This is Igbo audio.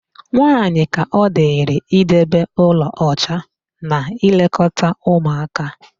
Nwaaanyị ka ọ dịrị idebe ụlọ ọcha na ịlekọta ụmụaka.